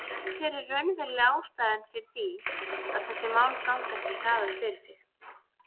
En hver er raunveruleg ástæða fyrir því að þessi mál ganga ekki hraðar fyrir sig?